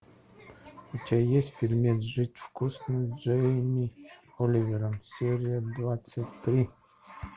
у тебя есть фильмец жить вкусно с джейми оливером серия двадцать три